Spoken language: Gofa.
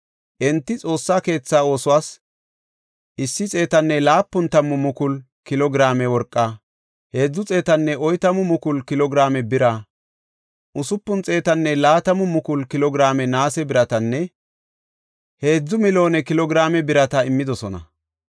Enti Xoossa keetha oosuwas 170,000 kilo giraame worqaa, 340,000 kilo giraame bira, 620,000 kilo giraame naase biratanne 3,000,000 kilo giraame birata immidosona.